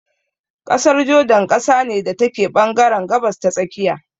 ƙasar jordan ƙasa ne da take ɓangaren gabas ta tsakiya.